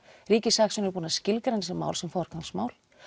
ríkissaksóknari er búinn að skilgreina þessi mál sem forgangsmál